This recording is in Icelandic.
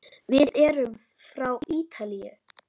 Við erum frá Ítalíu.